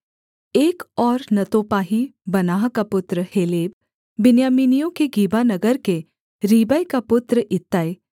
एक और नतोपाही बानाह का पुत्र हेलेब बिन्यामीनियों के गिबा नगर के रीबै का पुत्र इत्तै